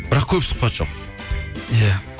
бірақ көп сұхбат жоқ иә